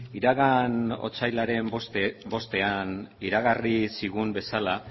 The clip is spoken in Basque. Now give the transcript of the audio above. iragan otsailaren bostean iragarri zigun bezala